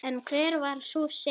En hver var sú synd?